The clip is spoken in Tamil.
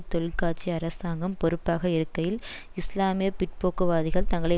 தொழிற்கட்சி அரசாங்கம் பொறுப்பாக இருக்கையில் இஸ்லாமிய பிற்போக்குவாதிகள் தங்களை